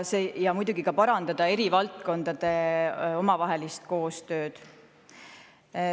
Ja muidugi parandada eri valdkondade omavahelist koostööd.